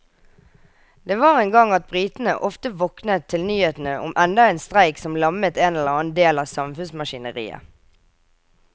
Det var en gang at britene ofte våknet til nyhetene om enda en streik som lammet en eller annen del av samfunnsmaskineriet.